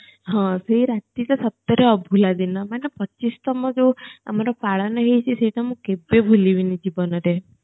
ହଁ ସେ ରାତିଟା ସତରେ ଅଭୂଲା ଦିନ ମନେ ପଚିଶ ତମ ଯୋଉ ଆମର ପାଳନ ହେଇଛି ସେଇଟା ମୁ କେବେ ଭୁଲିବିନି ଜୀବନରେ